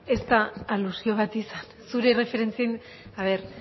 laurogeita laugarrena